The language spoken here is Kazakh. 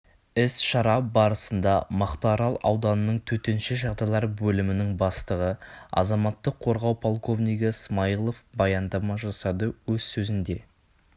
іс-шара барысында мақтарал ауданының төтенше жағдайлар бөлімінің бастығы азаматтық қорғау полковнигі смаилов баяндама жасады өз сөзінде